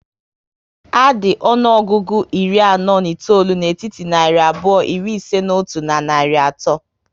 A dị ọnụọgụgụ iri anọ na itoolu n'etiti narị abụọ iri ise n'otu na narị ato